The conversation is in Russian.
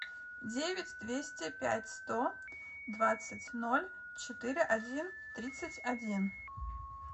девять двести пять сто двадцать ноль четыре один тридцать один